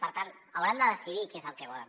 per tant hauran de decidir què és el que volen